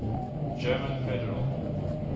german federal